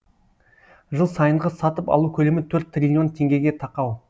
жыл сайынғы сатып алу көлемі төрт триллион теңгеге тақау